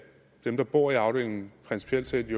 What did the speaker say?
dem der bor i afdelingen jo principielt set